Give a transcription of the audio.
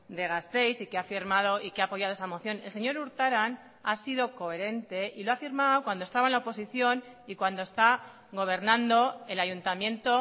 de gasteiz y que ha firmado y que ha apoyado esa moción el señor urtaran ha sido coherente y lo ha firmado cuando estaba en la oposición y cuando está gobernando el ayuntamiento